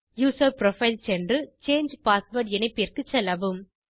user profile சென்று change password இணைப்பிற்கு செல்லவும்